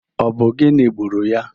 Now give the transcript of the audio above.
Ọ bụ gịnị gburu ya?